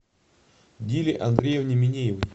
диле андреевне минеевой